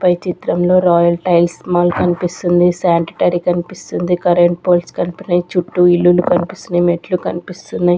పై చిత్రంలో royal tiles మల్ కనిపిస్తుంది సాంటిటరీ కనిపిస్తుంది కరెంట్ పోల్స్ కనపడిచ్ చుట్టూ ఇల్లులు కనిపిస్సున్నాయ్ మెట్లు కనిపిస్తున్నాయ్ --